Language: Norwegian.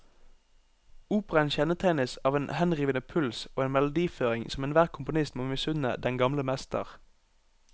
Operaen kjennetegnes av en henrivende puls og en melodiføring som enhver komponist må misunne den gamle mester.